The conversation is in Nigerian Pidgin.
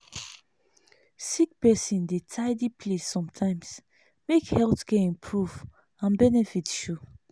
sick person dey tidy place sometimes make health care improve and benefit show.